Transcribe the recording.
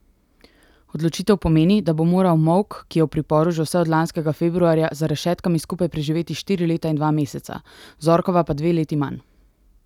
Odločitev pomeni, da bo moral Molk, ki je v priporu že vse od lanskega februarja, za rešetkami skupaj preživeti štiri leta in dva meseca, Zorkova pa dve leti manj.